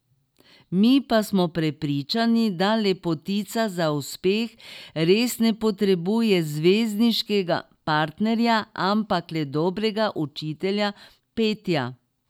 Mi pa smo prepričani, da lepotica za uspeh res ne potrebuje zvezdniškega partnerja, ampak le dobrega učitelja petja.